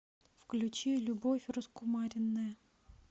включи любовь раскумаренная